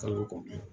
Kalo kɔnɔ